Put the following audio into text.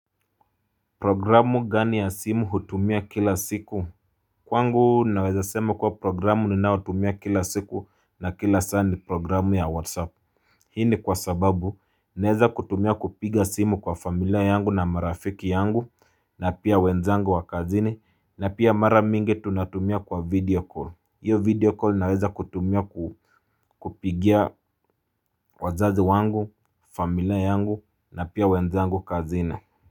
Programu gani ya simu hutumia kila siku? Kwangu naweza sema kuwa programu ninaotumia kila siku na kila saa ni programu ya whatsapp. Hii ni kwa sababu naweza kutumia kupiga simu kwa familia yangu na marafiki yangu na pia wenzangu wa kazini na pia mara mingi tunatumia kwa video call. Hiyo video call naweza kutumia kupigia wazazi wangu, familia yangu na pia wenzangu kazini.